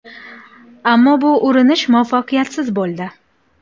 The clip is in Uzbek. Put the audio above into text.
Ammo bu urinish muvaffaqiyatsiz bo‘ldi.